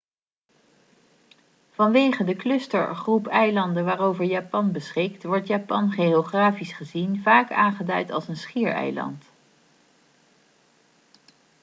vanwege de cluster/groep eilanden waarover japan beschikt wordt japan geografisch gezien vaak aangeduid als een 'schiereiland'